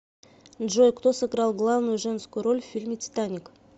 джой кто сыграл главную женскую роль в фильме титаник